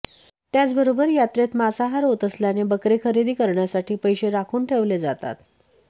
त्याचबरोबर यात्रेत मांसाहार होत असल्याने बकरे खरेदी करण्यासाठी पैसे राखून ठेवले जातात